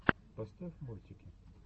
поставь мультики